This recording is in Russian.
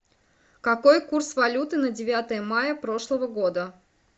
какой курс валюты на девятое мая прошлого года